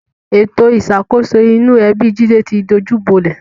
Ètò ìṣàkóso inú ẹbi Jídé ti dojúbolẹ̀